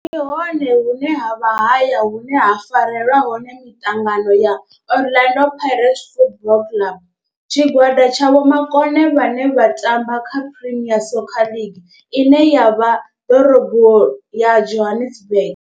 Ndi hone hune havha haya hune ha farelwa hone miṱangano ya Orlando Pirates Football Club. Tshigwada tsha vhomakone vhane vha tamba kha Premier Soccer League ine ya vha ḓorobo ya Johannesburg.